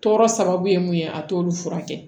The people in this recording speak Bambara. Tɔɔrɔ sababu ye mun ye a t'olu furakɛ